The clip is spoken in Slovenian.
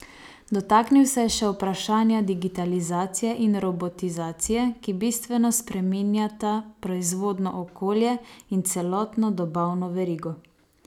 Dotaknil se je še vprašanja digitalizacije in robotizacije, ki bistveno spreminjata proizvodno okolje in celotno dobavno verigo.